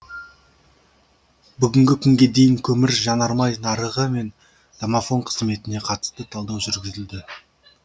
бүгінгі күнге дейін көмір жанармай нарығы мен домафон қызметіне қатысты талдау жүргізілді